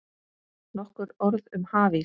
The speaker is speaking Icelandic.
Nokkur orð um hafís